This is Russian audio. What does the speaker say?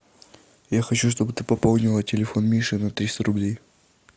я хочу чтобы ты пополнила телефон миши на триста рублей